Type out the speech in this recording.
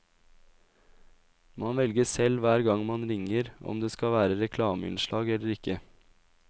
Man velger selv hver gang man ringer om det skal være reklameinnslag eller ikke.